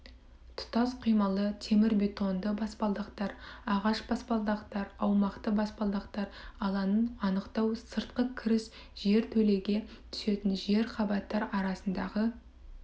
тұтас құймалы темірбетонды баспалдақтар ағаш баспалдақтар аумақты баспалдақ алаңын анықтау сыртқы кіріс жертөлеге түсетін жер қабаттар арасындағы